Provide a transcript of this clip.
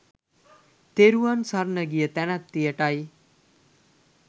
තෙරුවන් සරණ ගිය තැනැත්තියට යි.